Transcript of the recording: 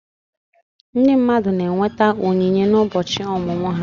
Ndị mmadụ na-enweta onyinye n'ụbọchị ọmụmụ ha